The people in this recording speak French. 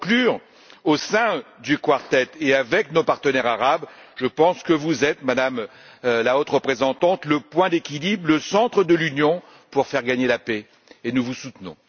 Pour conclure, au sein du Quartet et avec nos partenaires arabes, je pense que vous êtes, Madame la Haute Représentante, le point d'équilibre, le centre de l'Union pour faire gagner la paix, et nous vous soutenons.